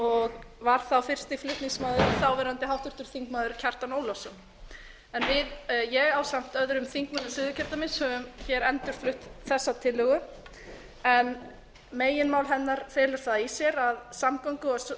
og var þá fyrsti flutningsmaður þáv háttvirtur þingmaður kjartan ólafsson en ég ásamt öðrum þingmönnum suðurkjördæmis hef endurflutt þessa tillögu meginmál hennar felur það í sér að samgöngu